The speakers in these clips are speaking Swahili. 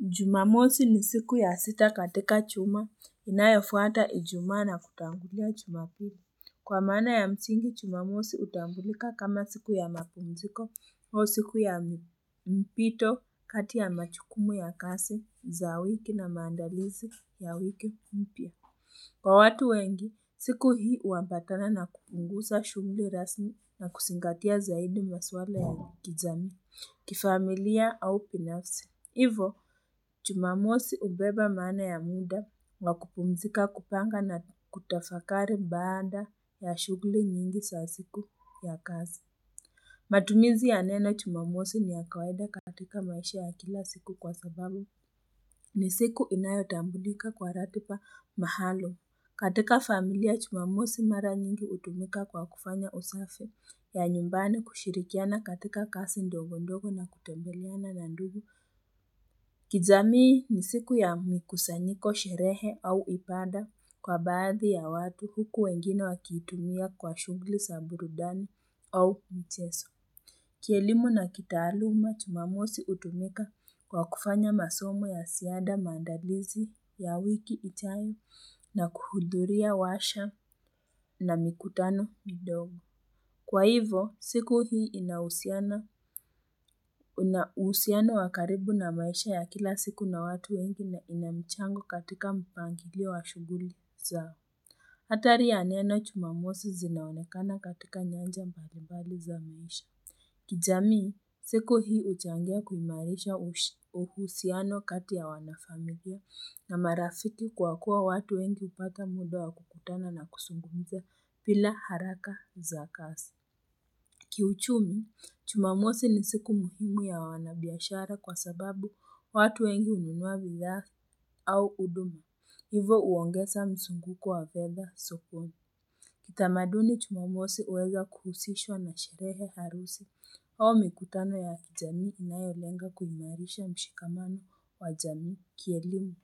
Jumamosi ni siku ya sita katika chuma inayofuata ijumaa na kutangulia jumapiri. Kwa maana ya msingi, chumamosi hutambulika kama siku ya mapumziko au siku ya mpito kati ya machukumu ya kasi za wiki na maandalizi ya wiki mpya. Kwa watu wengi, siku hii uambatana na kupungusa shughuli rasmi na kusingatia zaidi maswala ya kijamii kifamilia au binafsi. Hivo, chumamosi ubeba maana ya muda wa kupumzika kupanga na kutafakari baada ya shughuli nyingi sa siku ya kazi. Matumizi ya nena chumamosi ni ya kawaida katika maisha ya kila siku kwa sababu ni siku inayo tambulika kwa ratiba mahaluum katika familia chumamosi mara nyingi utumika kwa kufanya usafi ya nyumbani kushirikiana katika kasi ndogo ndogo na kutembeleana na ndugu. Kijamii ni siku ya mikusanyiko sherehe au ibada kwa baadhi ya watu huku wengine wakiitumia kwa shughuli sa burudani au micheso. Kielimu na kitaaluma jumamosi utumika kwa kufanya masomo ya siada maandalizi ya wiki ijayo na kuhudhuria washa na mikutano midogo. Kwa hivo, siku hii inahusiana na uhusiano wa karibu na maisha ya kila siku na watu wengi na ina michango katika mpangilio wa shughuli zao. Hatari ya neno chumamosi zinaonekana katika nyanja mbalimbali za maisha. Kijamii, siku hii huchangia kuimarisha uhushi uhusiano katiaya wana familia na marafiki kwa kuwa watu wengi hupata muda wa kukutana na kusungumza bila haraka za kasi. Kiuchumi, chumamosi ni siku muhimu ya wanabiashara kwa sababu watu wengi hununua bidhaa au uduma. Hivo uongesa msunguko wa fedha sokoni. Kitamaduni chumamosi uweza kuhusishwa na sherehe harusi, hau mikutano ya kijamii inayolenga kuimarisha mshikamano wa jamii kielimu.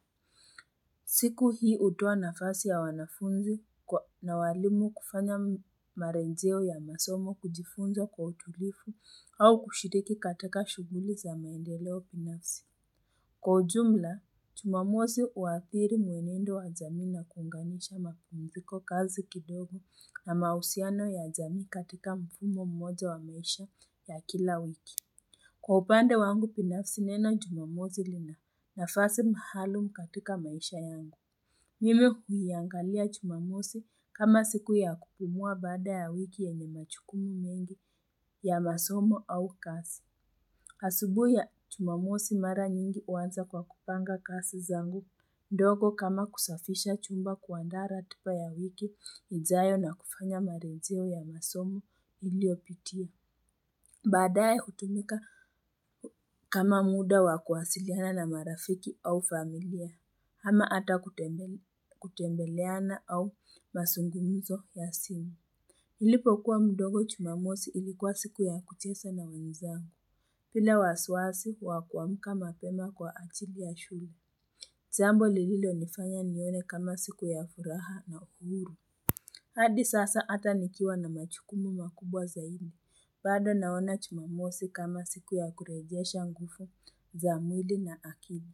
Siku hii utoa nafasi ya wanafunzi kwa na walimu kufanya marejeo ya masomo kujifunza kwa utulifu au kushiriki katika shughuli za maendeleo binafsi. Kwa ujumla, jumamosi uadhiri muenendo wa jamii na kuunganisha mapumziko kazi kidogo na mausiano ya jamii katika mfumo mmoja wa maisha ya kila wiki. Kwa upande wangu binafsi neno jumamosi lina nafasi mahaalum katika maisha yangu. Mimi huiangalia jumamosi kama siku ya kupumua baada ya wiki yenye machukumu nyingi ya masomo au kasi. Asubuhi ya jumamosi mara nyingi huanza kwa kupanga kasi zangu ndogo kama kusafisha chumba kuandaa ratiba ya wiki ijayo na kufanya marejeo ya masomo iliopitia. Baadaye hutumika kama muda wakuasiliana na marafiki au familia, hama ata kutembe kutembeleana au masungumzo ya simu. Nilipo kuwa mdogo jumamosi ilikuwa siku ya kuchesa na wenzangu, bila wasiwasi wakuamka mapema kwa achili ya shule. Jambo lililo nifanya nione kama siku ya furaha na uhuru. Hadi sasa hata nikiwa na machukumu makubwa zaidi Baado naona chumamosi kama siku ya kurejesha ngufu za mwili na akili.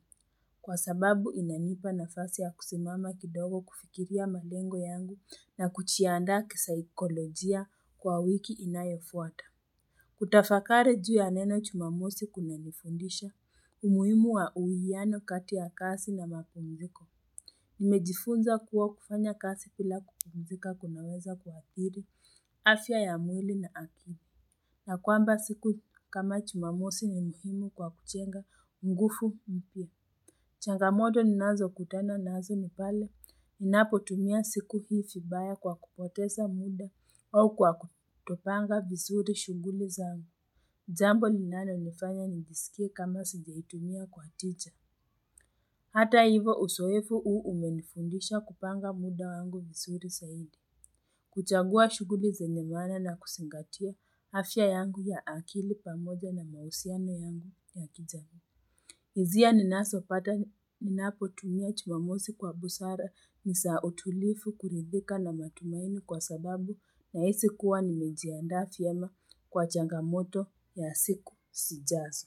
Kwa sababu inanipa nafasi ya kusimama kidogo kufikiria malengo yangu na kuchiandaa kisaikolojia kwa wiki inayofuata. Kutafakari juu ya neno chumamosi kuna nifundisha umuhimu wa uwiyano kati ya kasi na mapumziko Nimejifunza kuwa kufanya kasi bila kupumzika kunaweza kuwadhiri, afya ya mwili na akili na kwamba siku kama chumamosi ni muhimu kwa kuchenga nguvu mpya changamoto ninazo kutana nazo nipale, ninapo tumia siku hii fibaya kwa kupoteza muda au kwa kutopanga vizuri shughuli zao Jambo linalo nifanya nijisikie kama sijaitumia kwa tija. Hata hivo usoefu uu umenifundisha kupanga muda wangu visuri saidi. Kuchagua shughuli zenye maana na kusingatia afya yangu ya akili pamoja na mahusiano yangu ya kijamii. Hizia ninasopata ninapo tumia chumamosi kwa busara nisa utulifu kuridhika na matumaini kwa sababu na hisi kuwa nimejiandaa fiema kwa changamoto ya siku sijazo.